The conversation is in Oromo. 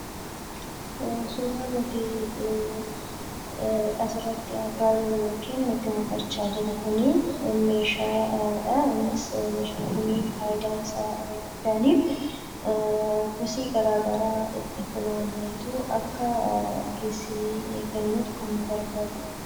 Suuraa nuti asirratti argaa jirru yookiin nutti mul'achaa jiru kun meeshaadha. Innis meeshaan kun faayidaan isaa inni guddaan; kosii garaagaraa ittiin funaanuudhaan, akka ittiin geessinee gatnuuf kan nu gargaaruudha.